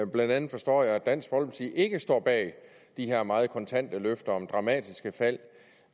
blandt andet forstår jeg at dansk folkeparti ikke står bag de her meget kontante løfter om dramatiske fald